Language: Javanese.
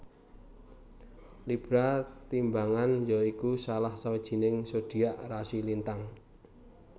Libra timbangan ya iku salah sawijining zodiak rasi lintang